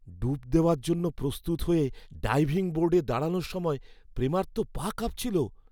ডুব দেওয়ার জন্য প্রস্তুত হয়ে ডাইভিং বোর্ডে দাঁড়ানোর সময় প্রেমার তো পা কাঁপছিল।